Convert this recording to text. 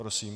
Prosím.